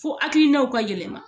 Fo akilinaw ka yɛlɛma